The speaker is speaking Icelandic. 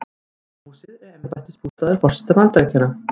Hvíta húsið er embættisbústaður forseta Bandaríkjanna.